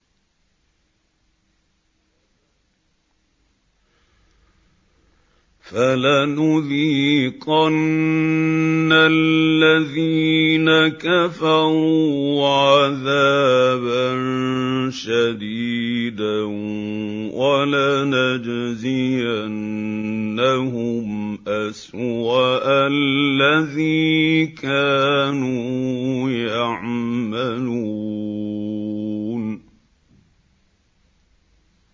فَلَنُذِيقَنَّ الَّذِينَ كَفَرُوا عَذَابًا شَدِيدًا وَلَنَجْزِيَنَّهُمْ أَسْوَأَ الَّذِي كَانُوا يَعْمَلُونَ